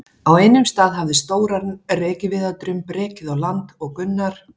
Á einum stað hafði stóran rekaviðardrumb rekið á land og Gunnar